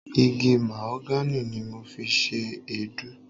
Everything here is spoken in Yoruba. Igi Mahogany ni mo fi ṣe Èédú.